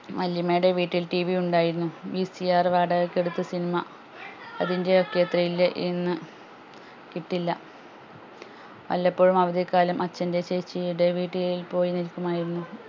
വല്ല്യമ്മയുടെ വീട്ടിൽ TV ഇണ്ടായിരുന്നു VCR വാടകക്ക് എടുത്ത് cinema അതിൻ്റെ ഒക്കെ thrill ഇന്ന് കിട്ടില്ല വല്ലപ്പോഴും അവധിക്കാലം അച്ഛൻ്റെ ചേച്ചിയുടെ വീട്ടിൽ പോയി നിൽക്കുമായിരുന്നു